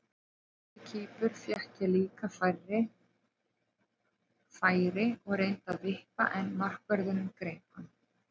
Á móti Kýpur fékk ég líka færi og reyndi að vippa en markvörðurinn greip hann.